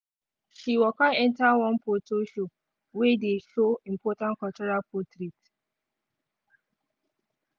she waka enter one photo show wey dey show important cultural portraits.